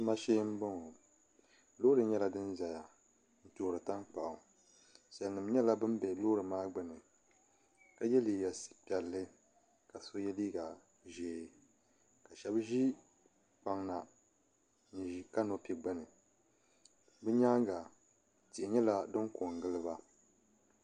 Tuma shee n boŋo loori nyɛla din ʒɛya n toori tankpaɣu salnim nyɛla bin bɛ Loori maa gbuni ka yɛ liiga piɛlli ka so yɛ liiga ʒiɛ ka shab ʒi kpaŋ na n ʒi kanopu gbuni bi nyaanga tihi nyɛla din ko n giliba